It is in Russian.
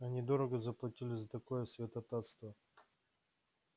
они дорого заплатили за такое святотатство